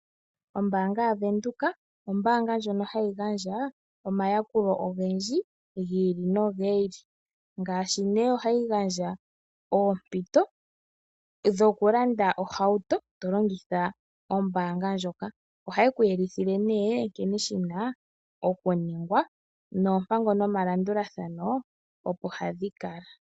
Ombaanga yaVenduka ombaanga ndjono hayi gandja omayakulo ogendji gi ili nogi ili, ngaashi ohayi gandja oompito dhokulanda ohauto, to longitha ombaanga ndjoka. Ohaye ku yelithile nee nkene shi na okuningwa noompango nomalandulathano, opo hadhi kala.